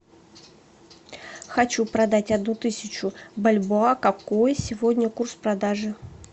хочу продать одну тысячу бальбоа какой сегодня курс продажи